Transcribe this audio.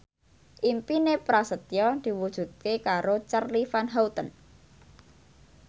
impine Prasetyo diwujudke karo Charly Van Houten